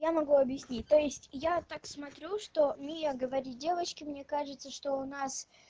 я могу объяснить то есть я так смотрю что мия говорит девочки мне кажется что у нас